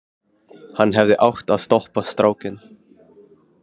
Hann hefði átt að stoppa strákinn.